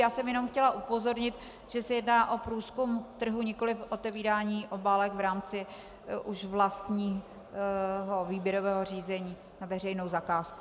Já jsem jenom chtěla upozornit, že se jedná o průzkum trhu, nikoliv o otevírání obálek v rámci už vlastního výběrového řízení na veřejnou zakázku.